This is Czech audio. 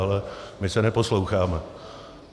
Ale my se neposloucháme.